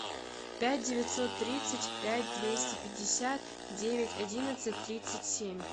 пять девятьсот тридцать пять двести пятьдесят девять одиннадцать тридцать семь